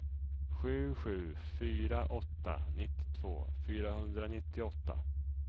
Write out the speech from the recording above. sju sju fyra åtta nittiotvå fyrahundranittioåtta